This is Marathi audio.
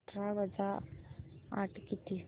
अठरा वजा आठ किती